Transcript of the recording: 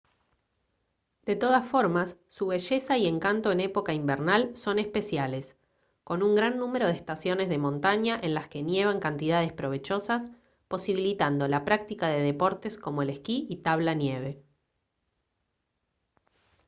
de todas formas su belleza y encanto en época invernal son especiales con un gran número de estaciones de montaña en las que nieva en cantidades provechosas posibilitando la práctica de deportes como el esquí y tabla nieve